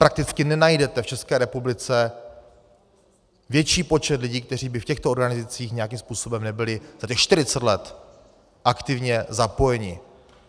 Prakticky nenajdete v České republice větší počet lidí, kteří by v těchto organizacích nějakým způsobem nebyli za těch 40 let aktivně zapojeni.